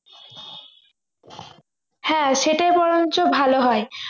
হ্যাঁ সেটাই বরঞ্চ ভালো হয়